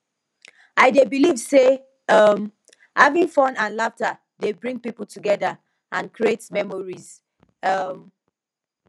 i dey believe say um having fun and laughter dey bring people together and create memories um